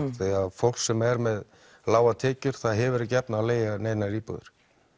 fólk sem er með lágar tekjur það hefur ekki efni á að leigja dýrar íbúðir